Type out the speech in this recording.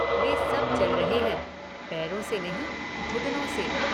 वे सब चल रहें हैं, पैरों से नहीं घुटनों से।